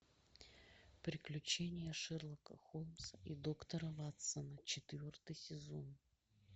приключения шерлока холмса и доктора ватсона четвертый сезон